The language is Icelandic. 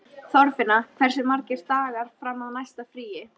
Þorfinna, hversu margir dagar fram að næsta fríi?